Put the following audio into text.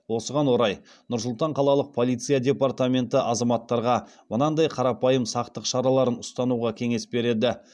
осыған орай нұр сұлтан қалалық полиция департаменті азаматтарға мынадай қарапайым сақтық шараларын ұстануға кеңес береді